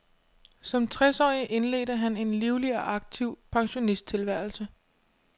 Som tres årig indledte han en livlig og aktiv pensionisttilværelse.